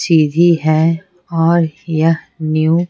सीधी है और यह न्यू ।